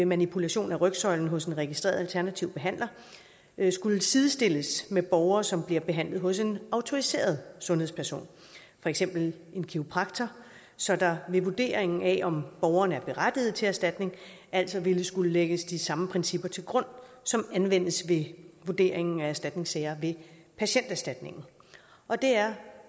manipulation af rygsøjlen hos en registreret alternativ behandler skulle sidestilles med borgere som bliver behandlet hos en autoriseret sundhedsperson for eksempel en kiropraktor så der ved vurderingen af om borgeren er berettiget til erstatning altså ville skulle lægges de samme principper til grund som anvendes ved vurderingen af erstatningssager ved patienterstatningen og det er